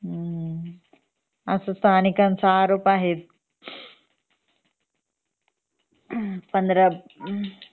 हम्म असाच स्थानिकांचा आरोप आहे उहम्म पंधरा